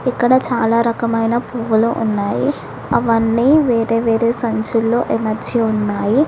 ఇక్కడ చాలా రకమైన పువ్వులు ఉన్నాయి అవన్నీ వేరే వేరే సంచుల్లో ఎమర్చి ఉన్నాయి.